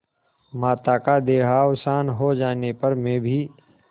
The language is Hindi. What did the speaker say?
माता का देहावसान हो जाने पर मैं भी